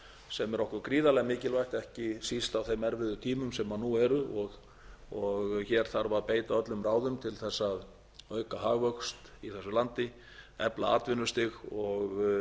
sem er okkur gríðarlega mikilvægt ekki síst á þeim erfiðu tímum sem nú eru og hér þarf að beita öllum ráðum til að auka hagvöxt í þessu landi efla atvinnustig og